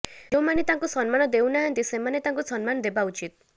ଯେଉଁମାନେ ତାଙ୍କୁ ସମ୍ମାନ ଦେଉ ନାହାନ୍ତି ସେମାନେ ତାଙ୍କୁ ସମ୍ମାନ ଦେବା ଉଚିତ୍